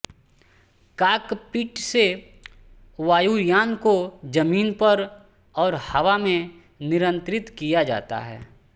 cockpit से वायुयान को जमीन पर और हवा में नियंत्रित किया जाता है